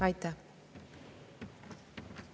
Aitäh!